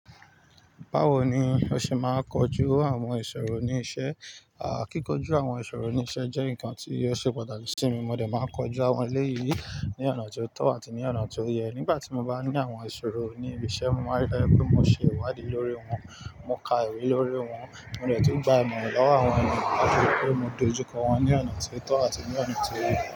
Báwo ni o ṣe máa kojú àwọn ìṣòro ní iṣẹ́? À, kíkójú àwọn ìṣòro ní iṣẹ́ jẹ́ nǹkan tí yóò ṣe pàtàkì sí mi. Mo dẹ̀ máa kojú àwọn eléyìí ní ọ̀nà tó tọ́ àti ní ọ̀nà tó yẹ. Nígbà tí mo bá ní àwọn ìṣòro ní ibi iṣẹ́, mo máa rí dájú pé mo ṣe ìwádìí lórí wọn, mo ka ìwé lórí wọn, mo dẹ̀ túún gba ìmọ̀ lọ́wọ́ àwọn èeyan láti rí pé mo dojú kọ wọn ní ọ̀nà tó tọ́ àti ní ọ̀nà tó yẹ.